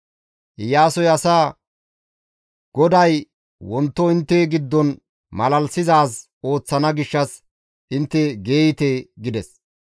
Iyaasoy asaa, «GODAY wonto intte giddon malalisizaaz ooththana gishshas intte geeyte» gides.